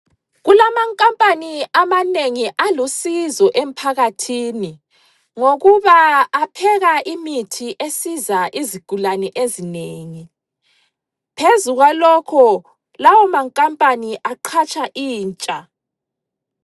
Kulamankampani amanengi alusizo emphakathini ngokuba apheka imithi esiza izigulane ezinengi. Phezu kwalokho lawo mankampani aqhatsha intsha.